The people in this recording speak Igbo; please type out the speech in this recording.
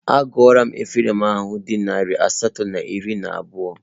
Agụọla m efere ma ha dị narị asatọ na iri na abụọ